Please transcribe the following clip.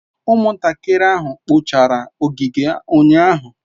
Umuntakiri ahu kpochara ogige unyahu